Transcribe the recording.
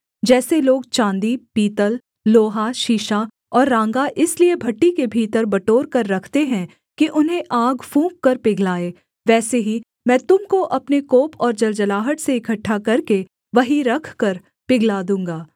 जैसे लोग चाँदी पीतल लोहा शीशा और राँगा इसलिए भट्ठी के भीतर बटोरकर रखते हैं कि उन्हें आग फूँककर पिघलाएँ वैसे ही मैं तुम को अपने कोप और जलजलाहट से इकट्ठा करके वहीं रखकर पिघला दूँगा